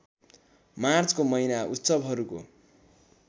मार्चको महिना उत्सवहरूको